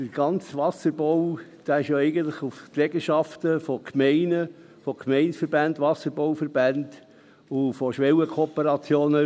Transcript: Der gesamte Wasserbau ruht ja eigentlich auf Trägerschaften von Gemeinden, von Gemeindeverbänden, Wasserbauverbänden und Schwellenkooperationen.